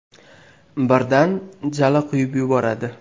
Birdan jala quyib yuboradi.